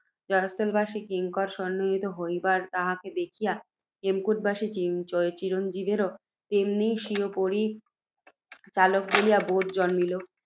জয়স্থলবাসী কিঙ্কর সন্নিহিত হইবার, তাহাকে দেখিয়া, হেমকূটবাসী চিরঞ্জীবেরও তেমনই স্বীয় পরিচারক বলিয়া বোধ জন্মিল,